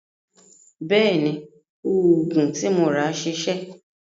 Bẹ́ẹ̀ni, òògùn tí mo rà ṣiṣẹ́.